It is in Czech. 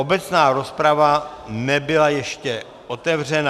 Obecná rozprava nebyla ještě otevřena.